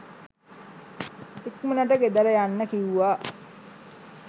ඉක්මනට ගෙදර යන්න කිව්වා